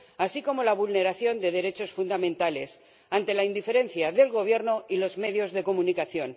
así como la vulneración de derechos fundamentales, ante la indiferencia del Gobierno y los medios de comunicación.